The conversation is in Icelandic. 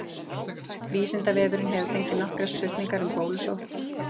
Vísindavefurinn hefur fengið nokkrar spurningar um bólusótt.